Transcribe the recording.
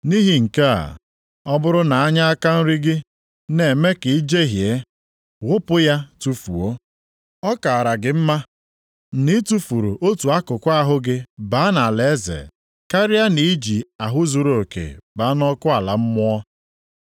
Nʼihi nke a, ọ bụrụ na anya aka nri gị na-eme ka i jehie, ghụpụ ya tufuo. Ọ kaara gị mma na i tufuru otu akụkụ ahụ gị baa nʼalaeze karịa na i ji ahụ zuruoke baa nʼọkụ ala mmụọ.